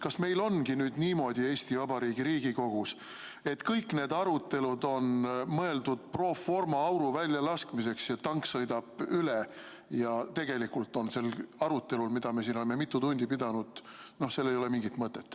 Kas meil ongi nüüd Eesti Vabariigi Riigikogus niimoodi, et kõik need arutelud on mõeldud pro forma auru väljalaskmiseks ja tank sõidab üle ja tegelikult ei ole sel arutelul, mida me oleme siin mitu tundi pidanud, mingit mõtet?